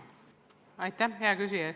Aitäh, hea küsija!